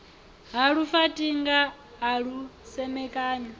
ha lufaṱinga a lu semekanya